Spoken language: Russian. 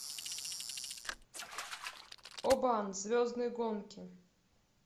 обан звездные гонки